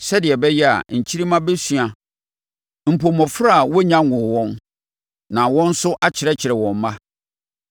sɛdeɛ ɛbɛyɛ a, nkyirimma bɛsua mpo mmɔfra a wɔnnya nwoo wɔn, na wɔn nso akyerɛkyerɛ wɔn mma.